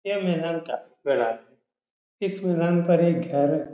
यह मीनार का । इस मीनार पर एक घर --